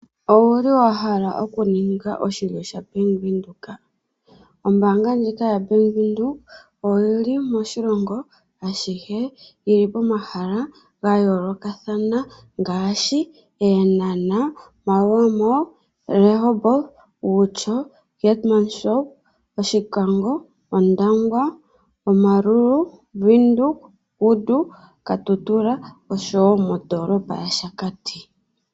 Owa hala okuninga oshilyo shaBank Windhoek? Ombaanga ndjika yaBank Windhoek oyi li moshilongo ashihe, yi li pomahala ga yoolokathana ngaashi Eenhanha, Maerua mall, Rehoboth, Outjo, Keetmanshoop, Oshikango, Ondangwa, Omaruru, Windhoek Ausspanplatz, Kudu nomoKatutura oshowo modoolopa yaShakati.